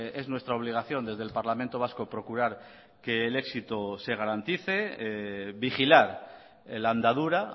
es nuestra obligación desde el parlamento vasco procurar que el éxito se garantice vigilar la andadura